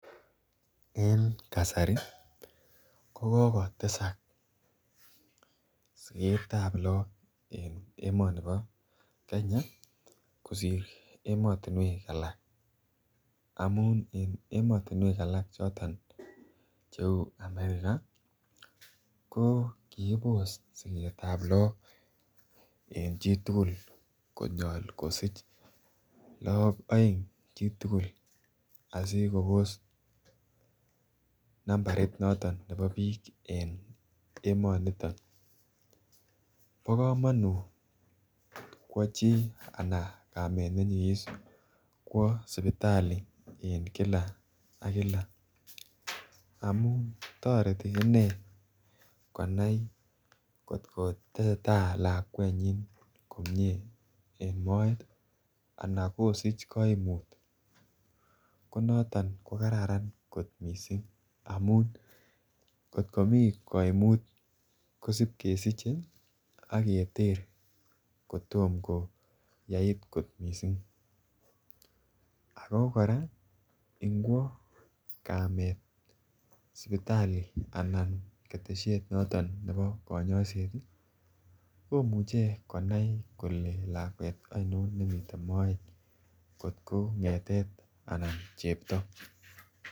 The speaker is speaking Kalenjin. En kasari ko kogotesak sigetab look en emonibo Kenya kosir emotinwek alak amun en emotinwek alak choton che uu america ko kikibos sigetab look en chitugul konyol kosich look oeng chitugul asi Kobos nambarit noton nebo biik en emoniton. Bo komonut kwo chi anan kamet ne nyigis kwo sipitali en Kila ak Kila amun toreti inee konai kot ko tesetai lakwenyin komie en moet ii ana kosich koimut ko noton ko kararan kot missing amun kot komii koimut kosip kesiche ak keter kotko yait kot missing ako koraa ngwo kamet sipitali anan ketesiet noton nebo konyoiset ii komuche konai kole lakwet oinon nemiten moet kotko ngetet anan chepto